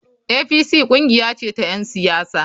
APC kungiya ce ta ‘yan siyasa.